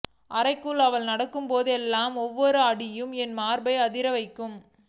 அறைக்குள் அவள் நடக்கும்போதெல்லாம் ஒவ்வொரு அடியும் என் மார்பை அதிரவைக்கும்